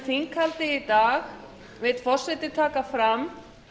þinghaldið í dag vill forseti taka fram